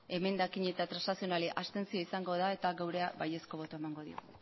emendakin eta transakzional abstentzioa izango da eta gurea baiezkoa botoa emango dugu mila